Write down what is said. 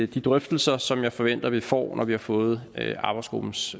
de drøftelser som jeg forventer vi får når vi har fået arbejdsgruppens